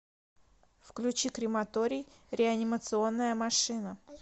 включи крематорий реанимационная машина